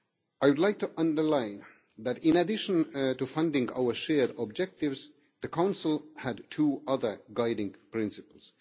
I would like to underline that, in addition to funding our shared objectives, the Council had two other guiding principles.